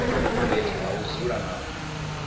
fhethu ha u dzula na